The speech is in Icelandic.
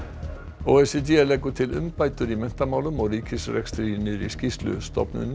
o e c d leggur til umbætur í menntamálum og ríkisrekstri í nýrri skýrslu stofnunin